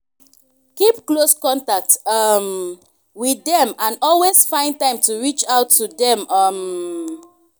keep close contact um with them and always find time to reach out to them um